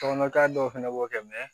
Tɔgɔ k'a dɔw fana b'o kɛ